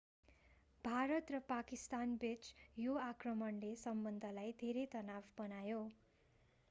भारत र पाकिस्तानबीच यस आक्रमणले सम्बन्धलाई धेरै तनाव बनायो